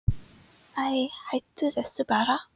Æi, hættu þessu bara.